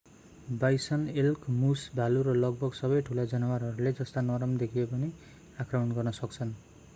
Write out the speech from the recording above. bison elk moose भालु र लगभग सबै ठूला जनावरहरूले जस्ता नरम देखिए पनि आक्रमण गर्न सक्छन्